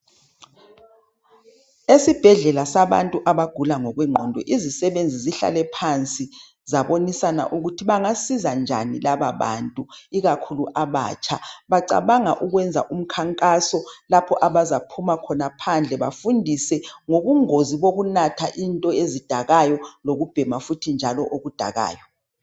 esibhedlela sabantu abagula ngokwenqondo izisebenzi zihlale phansi zabonisana ukuthi bangasiza njani laba bantu ikakhulu batsha bacabanga ukwenza umkhankaso lapha abazaphuma khona phandle bafundse ngobungozi bokunatha into ezidakayo lokubhema futhi into ezidakayo